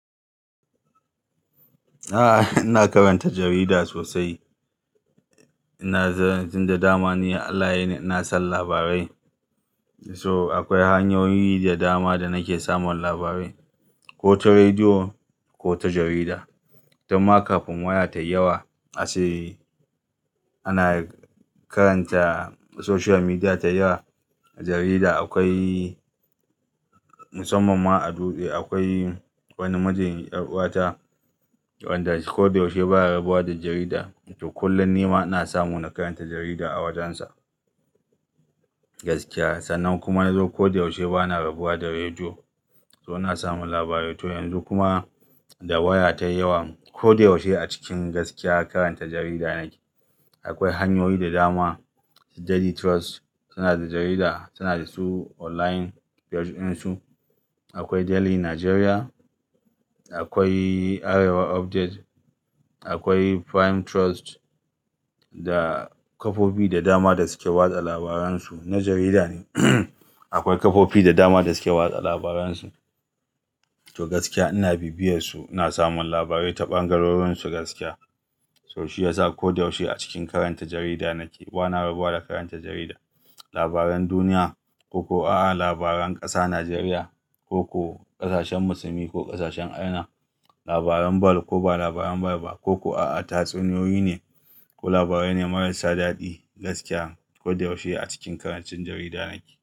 A'a, ina karanta jarida sosai. Ina jiran tunda da dama ne Allah yini ina son labarai. So akwai hanyoyi da dama da nake samun labarai, ko ta rediyo ko ta jarida. Tamkar kafin waya ta yawa a sayi ana karanta social media ta yawa. Jarida akwai musamman ma a dutse. Akwai wani mijin 'yar'uwata wanda ko da yaushe baya rabuwa da jarida. To kullum nima na samu na karanta jarida a wajensa gaskiya. Sannan kuma na zo ko da yaushe bana rabuwa da rediyo. To ina samun labarai. To yanzu kuma da waya ta yawa ko da yaushe a cikin gaskiya karanta jarida nake. Akwai hanyoyi da dama Daily Trust suna da jarida, suna da su online page din su. Akwai Daily Nigeria, akwai Arewa Update, akwai Prime Trust da kafofi da dama da suke watsa labaran su. Na jarida ne akwai kafofi da dama da suke watsa labaran su. To gaskiya ina bibiyarsu, ina samun labarai ta ɓangarorin su gaskiya. So shi yasa ko da yaushe a cikin karanta jarida nake. Bana rabuwa da karanta jarida. Labaran duniya ko ko a'a labaran ƙasa, Najeriya ko ko ƙasashen Musulmi ko ƙasashen Afirka, labaran ball ko ba labaran ball ba ko ko a'a tatsuniyoyi ne ko labarai ne marasa daɗi gaskiya ko da yaushe a cikin karancin jarida nake.